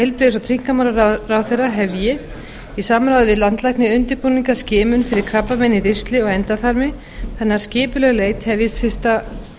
heilbrigðis og tryggingamálaráðherra hefji í samráði við landlækni undirbúning að skimun fyrir krabbameini í ristli og endaþarmi þannig að skipuleg leit hefjist fyrsta